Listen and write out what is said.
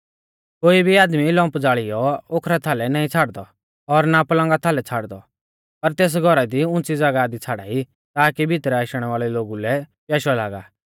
कोई भी आदमी लम्प ज़ालियौ ओखरा थाल नाईं छ़ाड़दौ और ना पलंगा थाल छ़ाड़दौ पर तेस घौरा दी उंच़ी ज़ागाह दी छ़ाड़ाई ताकि भितरै आशणै वाल़ै लोगु लै प्याशौ लागा